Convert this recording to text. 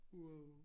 Wow